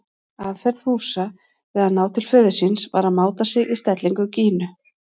Aðferð Fúsa við að ná til föður síns var að máta sig í stellingar Gínu.